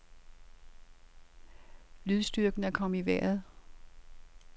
Lydstyrken er kommet i vejret.